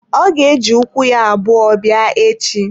Ọ ga eji ukwu ya abụọ bịa echi.